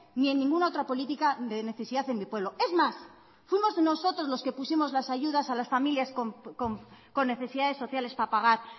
ni en ninguna otra política de necesidad en mi pueblo es más fuimos nosotros los que pusimos las ayudas a las familias con necesidades sociales para pagar